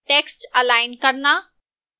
text align करना